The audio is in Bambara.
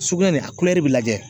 Sugunɛ nin a bɛ lajɛ.